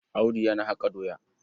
Audu yana haƙa doya.